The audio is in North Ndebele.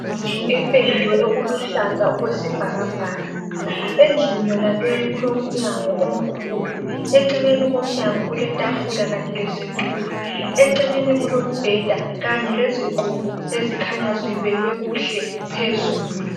Indlu ependwe okuluhlaza okwesibhakabhaka endlini yona leyi kulomnyango omkhulu, eceleni komnyango kuletafula kanye lesitulo , eceleni kulombeda kanye lezigqoko ezikhanya zibekwe kuhle phezulu.